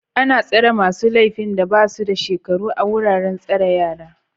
Ana tsare masu laifin da ba su da shekaru a wuraren tsare yara